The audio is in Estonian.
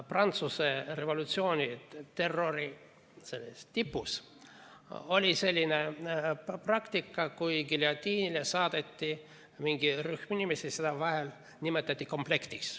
Prantsuse revolutsiooni terrori tipus oli selline praktika, et kui giljotiini alla saadeti mingi rühm inimesi, siis vahel nimetati neid komplektiks.